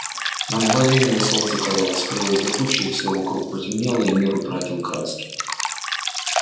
на мгновение солнце казалось скрылось за тучей всё вокруг потемнело и мир утратил краски